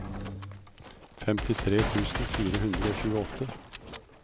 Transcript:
femtifire tusen fire hundre og tjueåtte